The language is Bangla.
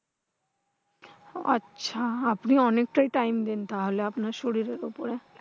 আচ্ছা আপনি অনেকটাই time দেন তাহলে আপনার শরীরের উপরে।